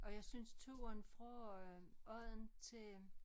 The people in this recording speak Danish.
Og jeg synes turen fra øh Odden til øh